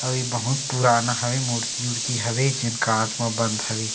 अउ ये बहुत पुराना हे मूर्ति उर्ति हवे जेन कांच म बंद हवे।